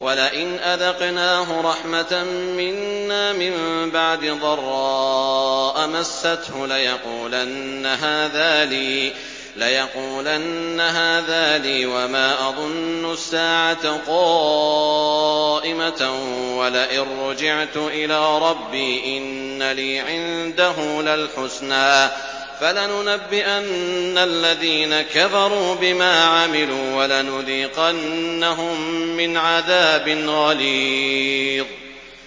وَلَئِنْ أَذَقْنَاهُ رَحْمَةً مِّنَّا مِن بَعْدِ ضَرَّاءَ مَسَّتْهُ لَيَقُولَنَّ هَٰذَا لِي وَمَا أَظُنُّ السَّاعَةَ قَائِمَةً وَلَئِن رُّجِعْتُ إِلَىٰ رَبِّي إِنَّ لِي عِندَهُ لَلْحُسْنَىٰ ۚ فَلَنُنَبِّئَنَّ الَّذِينَ كَفَرُوا بِمَا عَمِلُوا وَلَنُذِيقَنَّهُم مِّنْ عَذَابٍ غَلِيظٍ